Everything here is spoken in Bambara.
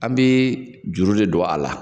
An bɛ juru de don a la.